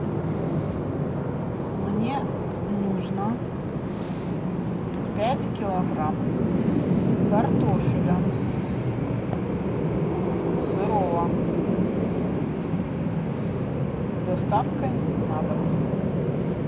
мне нужно пять килограмм картофеля сырого с доставкой на дом